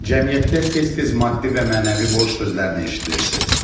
Cəmiyyətdə tez-tez maddi və mənəvi borc sözlərini eşidirsiniz.